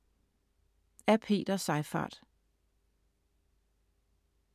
Af Peter Seyfarth